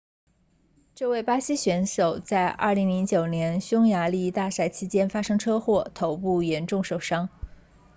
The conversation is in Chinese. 这位巴西选手在2009年匈牙利大奖赛期间发生车祸头部严重受伤